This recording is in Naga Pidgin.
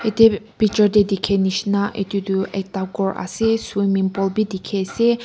etu picture te dekhi nishna etu tu ghor ase swimming pool bhi dekhi ase.